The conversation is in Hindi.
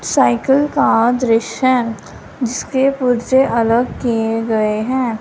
साइकिल का दृश्य है जिसके पुर्जे अलग किए गए हैं।